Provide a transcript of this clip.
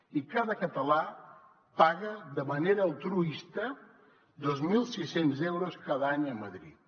i cada català paga de manera altruista dos mil sis cents euros cada any a madrid